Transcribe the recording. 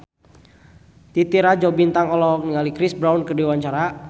Titi Rajo Bintang olohok ningali Chris Brown keur diwawancara